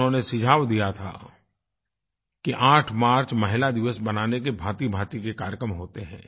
उन्होंने सुझाव दिया था कि 8 मार्च महिला दिवस मनाने के भाँति भाँति के कार्यक्रम होते हैं